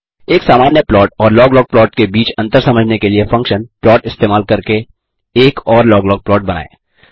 एक सामान्य प्लॉट और लॉग लॉग प्लॉट के बीच अंतर समझने के लिए फंक्शन प्लॉट इस्तेमाल करके एक और लॉग लॉग प्लॉट बनाते हैं